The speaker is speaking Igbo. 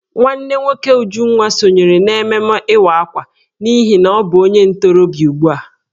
Nwanne nwoke Ujunwa sonyere n'ememme Ịwa Akwa n'ihi na ọ bụ onye ntorobịa ugbu a.